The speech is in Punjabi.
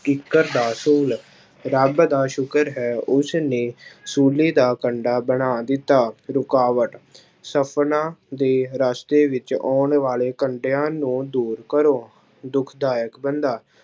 ਕਿੱਕਰ ਦਾ ਸੂਲ ਰੱਬ ਦਾ ਸ਼ੁਕਰ ਹੈ ਉਸਨੇ ਸੂਲੀ ਦਾ ਕੰਡਾ ਬਣਾ ਦਿੱਤਾ, ਰੁਕਾਵਟ ਸਪਨਾ ਦੇ ਰਸਤੇ ਵਿੱਚ ਆਉਣ ਵਾਲੇ ਕੰਡਿਆਂ ਨੂੰ ਦੂਰ ਕਰੋ ਦੁਖਦਾਇਕ ਬੰਦਾ